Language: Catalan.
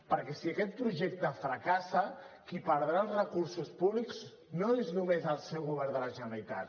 perquè si aquest projecte fracassa qui perdrà els recursos públics no és només el seu govern de la generalitat